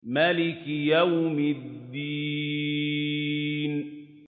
مَالِكِ يَوْمِ الدِّينِ